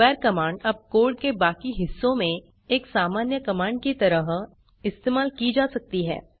square command अब code के बाकी हिस्सों में एक सामान्य कमांड की तरह इस्तेमाल की जा सकती है